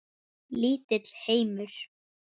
Lítill heimur.